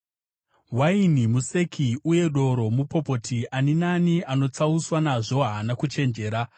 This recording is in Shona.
Waini museki uye doro mupopoti; ani naani anotsauswa nazvo haana kuchenjera.